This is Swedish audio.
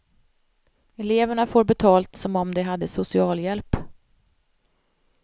Eleverna får betalt som om de hade socialhjälp.